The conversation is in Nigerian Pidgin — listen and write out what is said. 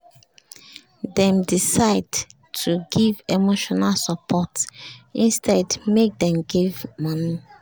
dem decide to give emotional support instead make dem give money